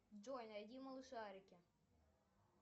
джой найди малышарики